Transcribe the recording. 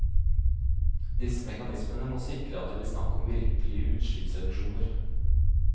Disse mekanismene må sikre at det blir snakk om virkelige utslippsreduksjoner.